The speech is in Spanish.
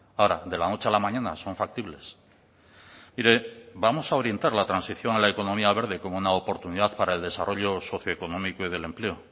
ahora de la noche a la mañana son factibles mire vamos a orientar la transición a la economía verde como una oportunidad para el desarrollo socioeconómico y del empleo